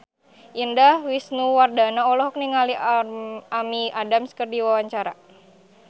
Indah Wisnuwardana olohok ningali Amy Adams keur diwawancara